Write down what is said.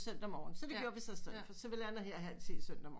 Søndag morgen så det gjorde vi istedet så vi lander her halv ti søndag morgen